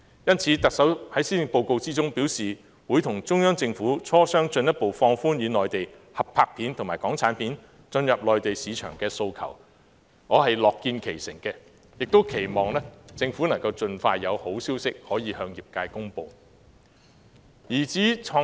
因此，特首在施政報告中表示會與中央政府磋商，提出進一步放寬與內地合拍片及港產片進入內地市場的訴求，我樂見其成，也期望政府能盡快有好消息向業界公布。